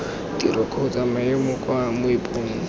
tiro kgotsa maemo kwa moepong